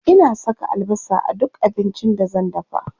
Ina saka albasa a duk abincin da zan dafa.